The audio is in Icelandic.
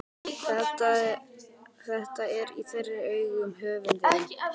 Þetta er í þeirra augum höfundurinn